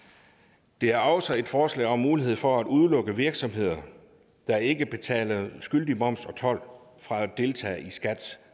der er også et forslag om mulighed for at udelukke virksomheder der ikke betaler skyldig moms og told fra at deltage i skats